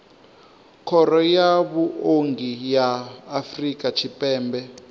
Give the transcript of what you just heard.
khoro ya vhuongi ya afrika tshipembe